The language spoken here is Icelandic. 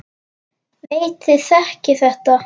Veit þið þekkið þetta.